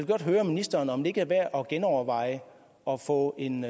godt høre ministeren om det ikke er værd at genoverveje at få en